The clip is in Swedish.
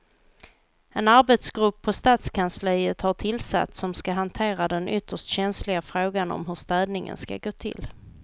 En arbetsgrupp på stadskansliet har tillsatts som ska hantera den ytterst känsliga frågan om hur städningen ska gå till.